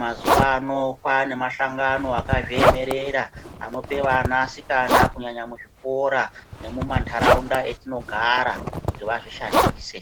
Mazuwa ano kwaane mahlanagano akazviemerera anope vanasikana kunyanya muzvikora nemumantaraunta etinogara kuti vazvishandise.